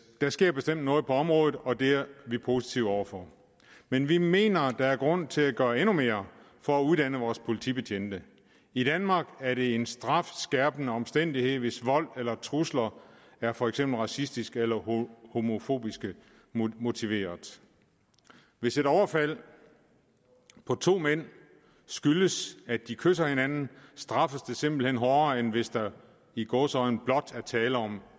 der sker bestemt noget på området og det er vi positive over for men vi mener at der er grund til at gøre endnu mere for at uddanne vores politibetjente i danmark er det en strafskærpende omstændighed hvis vold eller trusler er for eksempel racistisk eller homofobisk motiveret hvis et overfald på to mænd skyldes at de kysser hinanden straffes det simpelt hen hårdere end hvis der i gåseøjne blot er tale om